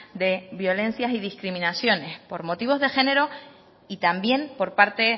de violencias y discriminaciones por motivos de género y también por parte